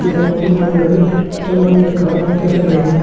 यह बहुत मोडर्न जमाने का कैफे है।